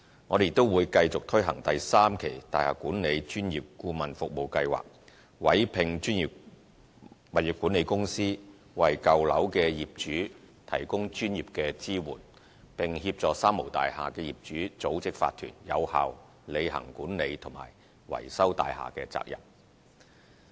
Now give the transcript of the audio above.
我們亦會繼續推行第三期大廈管理專業顧問服務計劃，委聘專業物業管理公司，為舊樓業主提供專業支援，並協助"三無大廈"業主組織法團，有效履行管理及維修大廈的責任。